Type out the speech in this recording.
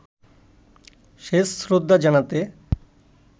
শেষ শ্রদ্ধা জানাতে